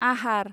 आहार